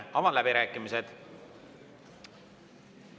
Avan läbirääkimised.